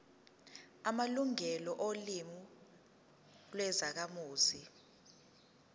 amalungelo olimi lwezakhamuzi